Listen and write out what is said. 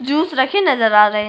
Juice रखे नज़र आ रहे हैं।